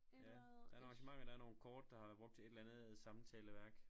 Ja der er nogle arrangementer der er nogle kort der har været brugt til et eller andet samtaleværk